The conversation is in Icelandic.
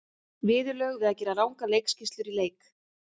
Viðurlög við að gera rangar leikskýrslur í leik?